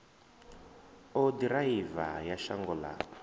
u ḓiraiva ya shango ḽa